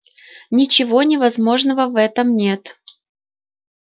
ничего невозможного в этом нет